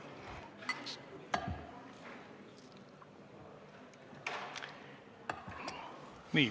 Nii.